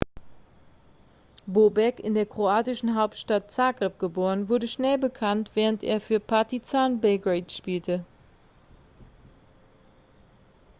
bobek in der kroatischen hauptstadt zagreb geboren wurde schnell bekannt während er für partizan belgrade spielte